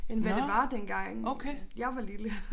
End hvad det var dengang jeg var lille